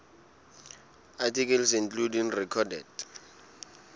articles including recorded